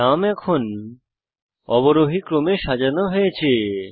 নাম এখন অবরোহী ক্রমে সাজানো হয়েছে